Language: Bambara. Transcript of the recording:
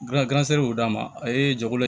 y'o d'a ma a ye jɛkulu